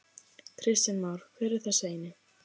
Kristján Már: Hver er þessi eini?